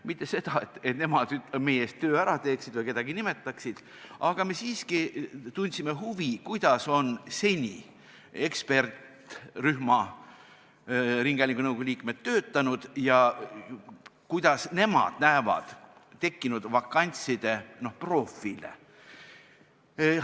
Mitte selleks, et nemad meie eest töö ära teeksid ja ise kedagi nimetaksid, vaid me tundsime huvi, kuidas on seni eksperdirühma ringhäälingunõukogu liikmed töötanud ja kuidas nemad näevad tekkinud vakantside profiile.